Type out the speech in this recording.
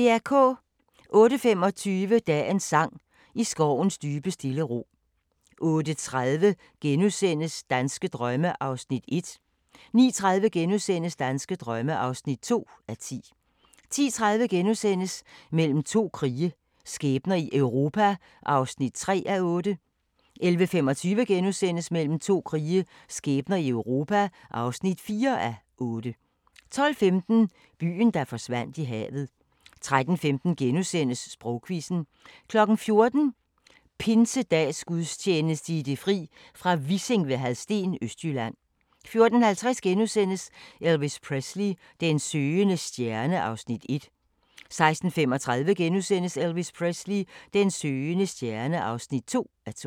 08:25: Dagens sang: I skovens dybe stille ro 08:30: Danske drømme (1:10)* 09:30: Danske drømme (2:10)* 10:30: Mellem to krige – skæbner i Europa (3:8)* 11:25: Mellem to krige – skæbner i Europa (4:8)* 12:15: Byen, der forsvandt i havet 13:15: Sprogquizzen * 14:00: Pinsedagsgudstjeneste i det fri, fra Vissing ved Hadsten, Østjylland 14:50: Elvis Presley: Den søgende stjerne (1:2)* 16:35: Elvis Presley: Den søgende stjerne (2:2)*